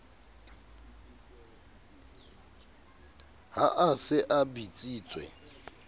ha a se a bitsitswe